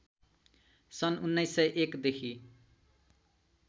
सन् १९०१ देखि